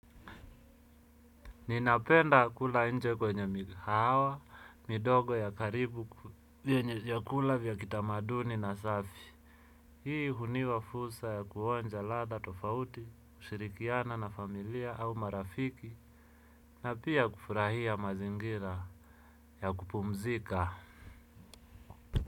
Ninapenda kula nje kwenye mikahawa, midogo ya karibu vyenye vyakula vya kitamaduni na safi. Hii hunipa fursa ya kuonja ladha tofauti, kushirikiana na familia au marafiki, na pia kufurahia mazingira ya kupumzika.